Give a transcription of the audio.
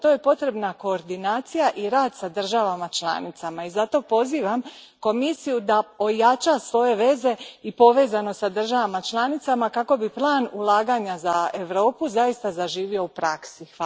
Za to su potrebni koordinacija i rad s državama članicama i zato pozivam Komisiju da ojača svoje veze i povezanost s državama članicama kako bi plan ulaganja za Europu zaista zaživio u praksi.